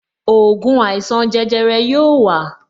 Ògùn àìsàn jẹjẹrẹ yóò wa